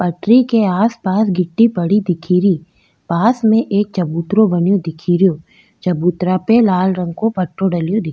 पटरी के आसपास गिट्टी पड़ी दिखेरी पास में एक चबूतरों बन्यो दिखेरो चबूतरा पे लाल रंग को पट्टो डल --